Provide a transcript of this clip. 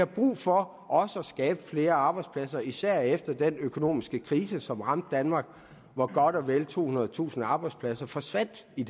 brug for at skabe flere arbejdspladser især efter den økonomiske krise som ramte danmark og hvor godt og vel tohundredetusind arbejdspladser forsvandt i